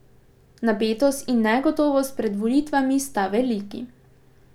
Napetost in negotovost pred volitvami sta veliki.